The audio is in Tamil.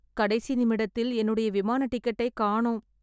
கடைசி நிமிடத்தில் என்னுடைய விமான டிக்கெட்டை காணும்